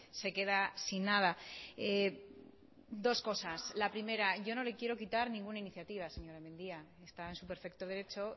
se queda sin nada dos cosas la primera yo no le quiero quitar ninguna iniciativa señora mendia está en su perfecto derecho